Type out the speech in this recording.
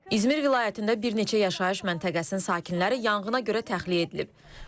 İzmir vilayətində bir neçə yaşayış məntəqəsinin sakinləri yanğına görə təxliyə edilib.